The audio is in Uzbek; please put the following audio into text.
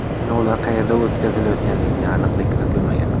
Sinovlar qayerda o‘tkazilganiga aniqlik kiritilmagan.